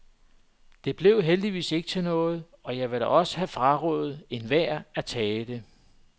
Det blev heldigvis ikke til noget, og jeg ville da også have frarådet enhver at tage det.